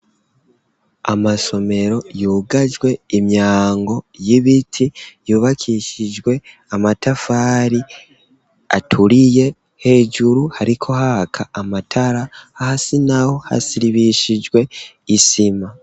Amasomero yugajwe imyango y'ibiti yubakishijwe amatafari aturiye, hejuru hariko haka amatara, hasi naho hasiribishijwe isima.